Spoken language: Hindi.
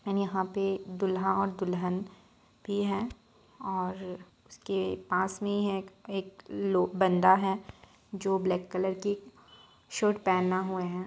और यहां पे दुल्हा दुल्हन भी है और उसके पास में है एक लोग बन्दा है जो ब्लेक कलर की शर्ट पहना हुआ है।